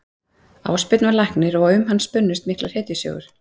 Ásbjörn var læknir og um hann spunnust miklar hetjusögur.